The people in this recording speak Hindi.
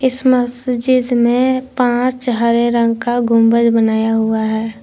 इस मस्जिद में पांच हरे रंग का गुंबद बनाया हुआ है।